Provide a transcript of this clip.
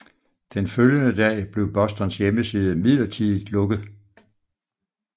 Den følgende dag blev Bostons hjemmeside midlertidigt lukket